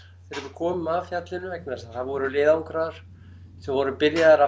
þegar við komum að fjallinu vegna þess að það voru leiðangrar sem voru byrjaðir að